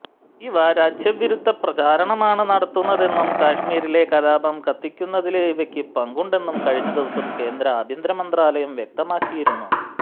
ഇവ രാജ്യവിരുദ്ധ പ്രചാരണമാണ് നടത്തുന്നതെന്നും കശ്മീരിലെ കലാപം കത്തിക്കുന്നതില് ഇവയ്ക്ക് പങ്കുണ്ടെന്നും കഴിഞ്ഞ ദിവസം കേന്ദ്ര ആഭ്യന്തര മന്ത്രാലയം വ്യക്തമാക്കിയിരുന്നു